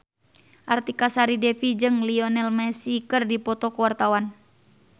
Artika Sari Devi jeung Lionel Messi keur dipoto ku wartawan